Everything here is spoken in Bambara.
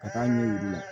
Ka taa ɲɛ yir'u la